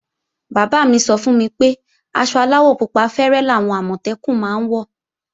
Bàbá mí sọ fún mi pé aṣọ aláwọ̀ pupa fẹ́rẹ́ làwọn Àmọ̀tẹ́kùn máa ń wọ̀